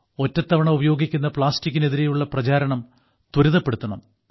ഒറ്റത്തവണ ഉപയോഗിക്കുന്ന പ്ലാസ്റ്റിക്കിനെതിരെയുള്ള പ്രചാരണം ത്വരിതപ്പെടുത്തണം